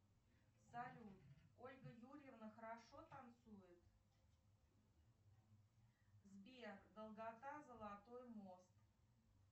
салют ольга юрьевна хорошо танцует сбер долгота золотой мост